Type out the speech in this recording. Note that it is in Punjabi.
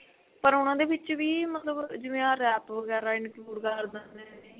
ਪਰ ਉਨ੍ਹਾਂ ਦੇ ਵਿੱਚ ਵੀ ਮਤਲਬ ਜਿਵੇਂ ਆ ਰੈਪ ਵਗੈਰਾ include ਕ਼ਰ ਦਿੰਦੇ ਨੇ